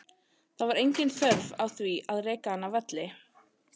Það var engin þörf á því að reka hann af velli.